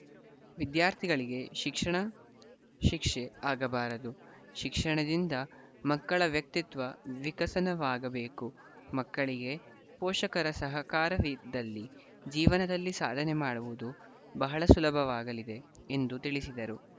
ವಿದ್ಯಾರ್ಥಿಗಳಿಗೆ ಶಿಕ್ಷಣ ಶಿಕ್ಷೆ ಆಗಬಾರದು ಶಿಕ್ಷಣದಿಂದ ಮಕ್ಕಳ ವ್ಯಕ್ತಿತ್ವ ವಿಕಸನವಾಗಬೇಕು ಮಕ್ಕಳಿಗೆ ಪೋಷಕರ ಸಹಕಾರವಿದ್ದಲ್ಲಿ ಜೀವನದಲ್ಲಿ ಸಾಧನೆ ಮಾಡುವುದು ಬಹಳ ಸುಲಭವಾಗಲಿದೆ ಎಂದು ತಿಳಿಸಿದರು